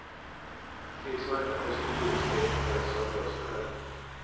Krigsmakten har i stor utsträckning fallit sönder av sig själv.